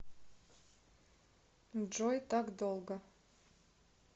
джой так долго